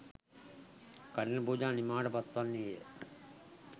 කඨින පූජාව නිමාවට පත්වන්නේ ය.